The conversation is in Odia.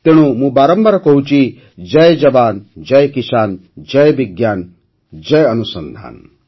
ତେଣୁ ମୁଁ ବାରମ୍ବାର କହୁଛି ଜୟ ଯବାନ୍ ଜୟ କିସାନ୍ ଜୟ ବିଜ୍ଞାନ ଜୟ ଅନୁସନ୍ଧାନ